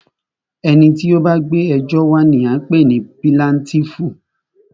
Ẹni tí o bá gbé ẹjọ́ wa ní a ń pé ní píláǹtìífú.